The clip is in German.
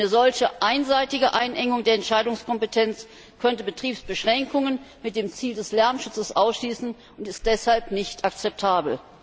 Eine solche einseitige Einengung der Entscheidungskompetenz könnte Betriebsbeschränkungen mit dem Ziel des Lärmschutzes ausschließen und ist deshalb nicht akzeptabel.